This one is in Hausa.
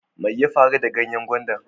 Mai ya faru da ganyen gwandan?